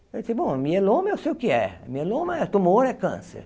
Eu disse, bom, mieloma eu sei o que é. Mieloma é tumor, é câncer.